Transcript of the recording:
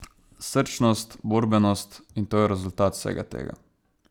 Srčnost, borbenost, in to je rezultat vsega tega.